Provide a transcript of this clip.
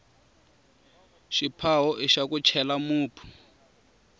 xiphawo ixa ku chela mupu